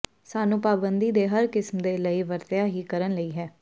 ਸਾਨੂੰ ਪਾਬੰਦੀ ਦੇ ਹਰ ਕਿਸਮ ਦੇ ਲਈ ਵਰਤਿਆ ਹੀ ਕਰਨ ਲਈ ਹੈ